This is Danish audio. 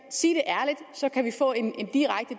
sig